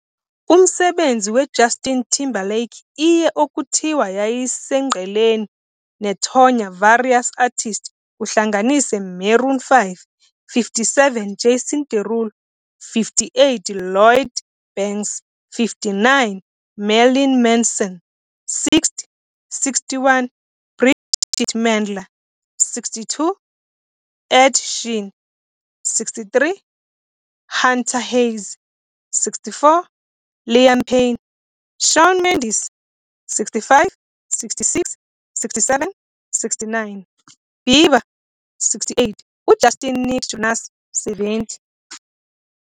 Umsebenzi we Justin Timberlake iye okuthiwa yayisemngceleni nethonya Various Artists, kuhlanganise- Maroon 5, 57 Jason Derulo, 58 Lloyd Banks, 59 Marilyn Manson, 60 61 Bridgit Mendler, 62 Ed Sheeran, 63, Hunter Hayes, 64 Liam Payne, Shawn Mendes 65 66 67 69 Bieber68 uJustin Nick Jonas. 70